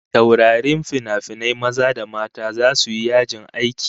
Taurarin finafinai maza da mata zasu yi yajin aiki